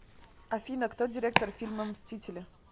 афина кто директор фильма мстители